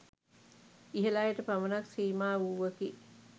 ඉහල අයට පමණක් සීමා වූවකි